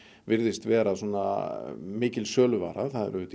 virðist vera svona mikil söluvara